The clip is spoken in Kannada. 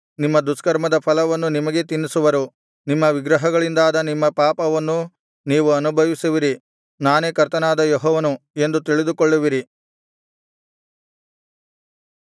ನಿಮ್ಮ ದುಷ್ಕರ್ಮದ ಫಲವನ್ನು ನಿಮಗೇ ತಿನ್ನಿಸುವರು ನಿಮ್ಮ ವಿಗ್ರಹಗಳಿಂದಾದ ನಿಮ್ಮ ಪಾಪವನ್ನು ನೀವು ಅನುಭವಿಸುವಿರಿ ನಾನೇ ಕರ್ತನಾದ ಯೆಹೋವನು ಎಂದು ತಿಳಿದುಕೊಳ್ಳುವಿರಿ